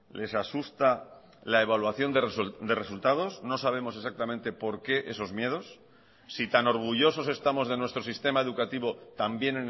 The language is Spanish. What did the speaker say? les asusta la evaluación de resultados no sabemos exactamente por qué esos miedos si tan orgullosos estamos de nuestro sistema educativo también